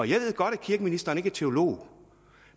jeg ved godt at kirkeministeren ikke er teolog